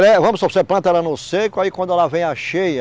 vamos supor que você planta ela no seco, aí quando ela vem a cheia,